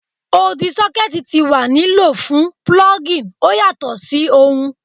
Odi sockets ti wa ni lo fun plugging o yatọ si ohun